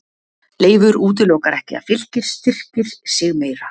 Leifur útilokar ekki að Fylkir styrkir sig meira.